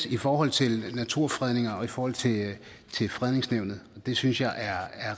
i forhold til naturfredninger og i forhold til fredningsnævnet og det synes jeg er